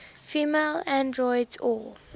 female androids or